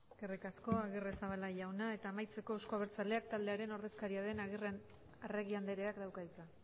eskerrik asko agirrezabala jauna eta amaitzeko eusko abertzaleak taldearen ordezkaria den arregi andreak dauka hitza